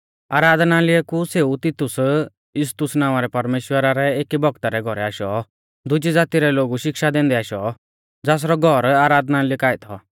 आराधनालय कु सेऊ तितुस यूस्तुस नावां रै परमेश्‍वरा रै एकी भौगता रै घौरै आशौ दुजी ज़ाती रै लोगु शिक्षा दैंदै आशौ ज़ासरौ घौर आराधनालय काऐ थौ